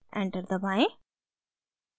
enter दबाएं